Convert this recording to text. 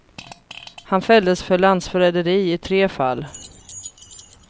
Han fälldes för landsförräderi i tre fall.